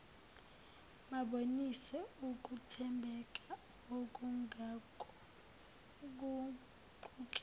babonise ukuthembeka ukungaguquki